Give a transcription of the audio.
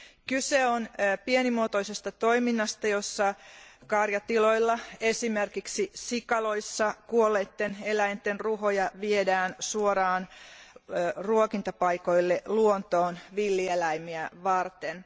Kyse on pienimuotoisesta toiminnasta, jossa karjatiloilla, esimerkiksi sikaloissa, kuolleitten eläinten ruhoja viedään suoraan ruokintapaikoille luontoon villieläimiä varten.